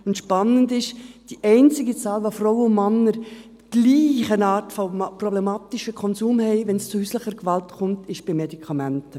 Spannend ist: Die einzige Zahl, wo die Frauen und Männer in gleicher Art einen problematischen Konsum haben, wenn es zu häuslicher Gewalt kommt, ist bei Medikamenten.